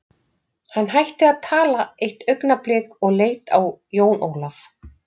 Hann hætti að tala eitt augnablik og leit á Jón Ólaf.